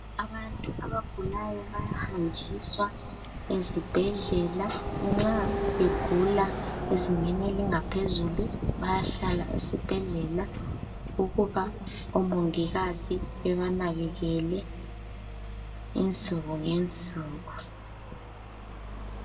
Abantu abagulayo bayahanjiswa ezibhedlela nxa begula ezingeni elingaphezulu bayahlala esibhedlela ukuba omongikazi bebanakelele insuku ngensuku.